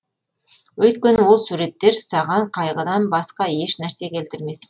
өйткені ол суреттер саған қайғыдан басқа еш нәрсе келтірмес